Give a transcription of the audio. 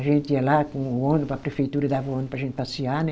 A gente ia lá com o ônibus, a prefeitura dava o ônibus para a gente passear, né?